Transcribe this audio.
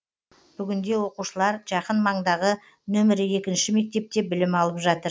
бүгінде оқушылар жақын маңдағы нөмірі екінші мектепте білім алып жатыр